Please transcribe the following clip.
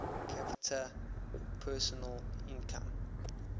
capita personal income